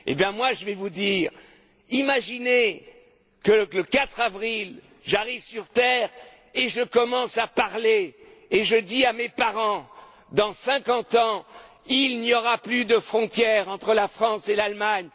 conçu. Alors, imaginez que le 4avril, j'arrive sur terre, que je commence à parler et que je dise à mes parents Dans cinquante ans, il n'y aura plus de frontière entre la France et l'Allemagne.